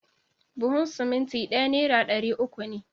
Buhun simintin ɗaya nera ɗari uku ne